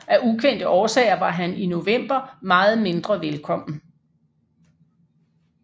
Af ukendte årsager var han i november meget mindre velkommen